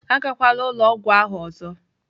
Agakwala ụlọ ọgwụ ahụ ọzọ!